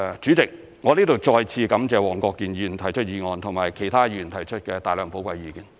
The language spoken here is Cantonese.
主席，我在這裏再次感謝黃國健議員提出議案和其他議員提出的大量寶貴意見，我謹此發言。